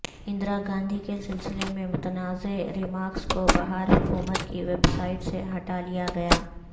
اندراگاندھی کے سلسلے میں متنازع ریمارکس کوبہار حکومت کی ویب سائٹ سے ہٹالیا گیا